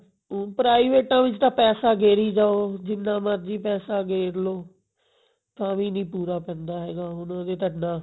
ਪਰਾਈਵੇਟਾ ਵਿੱਚ ਤਾਂ ਪੈਸਾ ਗੇਰੀ ਜਾਓ ਜਿੰਨਾ ਮਰਜੀ ਪੈਸਾ ਗੇਰਲੋ ਤਾਵੀਂ ਨੀ ਪੂਰਾ ਪੈਂਦਾ ਹੈਗਾ ਉਹਨਾਂ ਦੇ ਤਾਂ ਇਹਨਾਂ